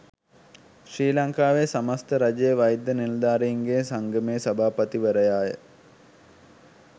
ශ්‍රී ලංකාවේ සමස්ථ රජයේ වෛද්‍ය නිලධාරීන්ගේ සංගමේ සභාපතිවරයාය.